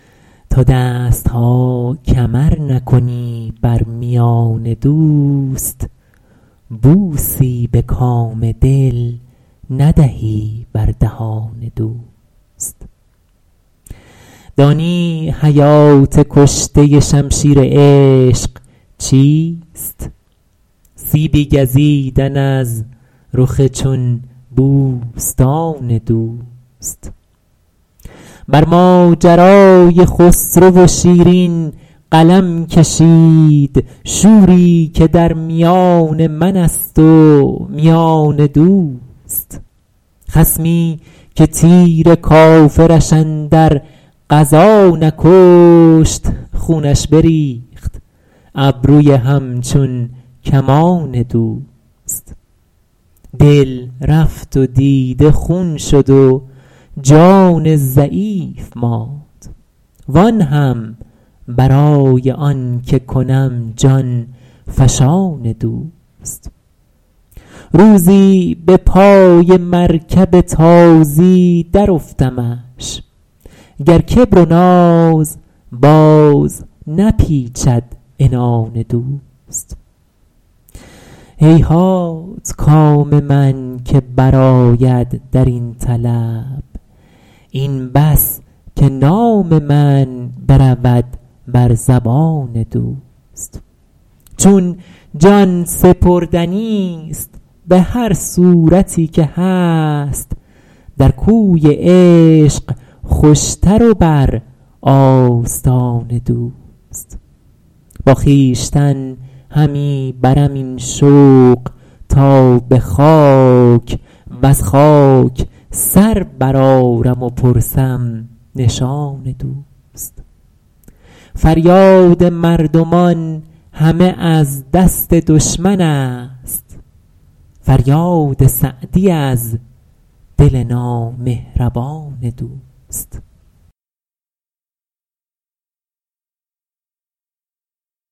تا دست ها کمر نکنی بر میان دوست بوسی به کام دل ندهی بر دهان دوست دانی حیات کشته شمشیر عشق چیست سیبی گزیدن از رخ چون بوستان دوست بر ماجرای خسرو و شیرین قلم کشید شوری که در میان من است و میان دوست خصمی که تیر کافرش اندر غزا نکشت خونش بریخت ابروی همچون کمان دوست دل رفت و دیده خون شد و جان ضعیف ماند وآن هم برای آن که کنم جان فشان دوست روزی به پای مرکب تازی درافتمش گر کبر و ناز باز نپیچد عنان دوست هیهات کام من که برآید در این طلب این بس که نام من برود بر زبان دوست چون جان سپردنیست به هر صورتی که هست در کوی عشق خوشتر و بر آستان دوست با خویشتن همی برم این شوق تا به خاک وز خاک سر برآرم و پرسم نشان دوست فریاد مردمان همه از دست دشمن است فریاد سعدی از دل نامهربان دوست